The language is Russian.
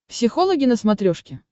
психологи на смотрешке